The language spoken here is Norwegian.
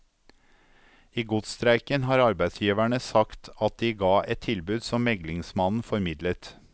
I godsstreiken har arbeidsgiverne sagt at de ga et tilbud som meglingsmannen formidlet.